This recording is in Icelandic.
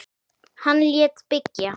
Hann lét byggja